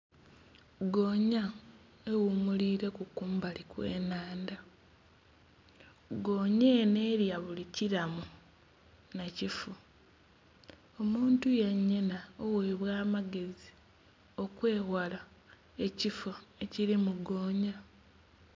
Goonya eghumulileku kumbali kwe nhandha, goonya enho elya buli kilamu nha kifu. Omuntu yenha yenha oghebwa amagezi okweghala ekifo ekilimu goonya.